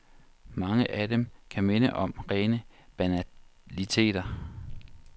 Mange af dem kan minde om rene banaliteter.